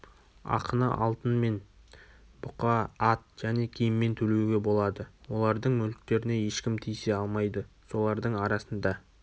ақыны алтын мен бұқа ат және киіммен төлеуге болады олардың мүліктеріне ешкім тиісе алмайды солардың арасында